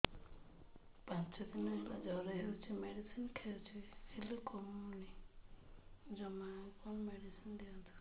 ପାଞ୍ଚ ଦିନ ହେଲା ଜର ହଉଛି ମେଡିସିନ ଖାଇଛି ହେଲେ କମୁନି ଜମା ଆଉ କଣ ମେଡ଼ିସିନ ଦିଅନ୍ତୁ